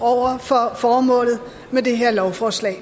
over for formålet med det her lovforslag